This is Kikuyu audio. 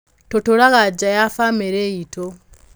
Tũtũũraga nja ya famĩlĩ itũ.